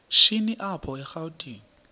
shini apho erawutini